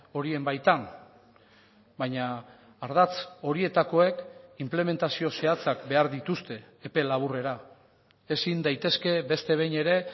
horien baitan baina ardatz horietakoek inplementazio zehatzak behar dituzte epe laburrera ezin daitezke beste behin ere